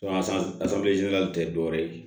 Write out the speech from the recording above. tɛ dɔwɛrɛ ye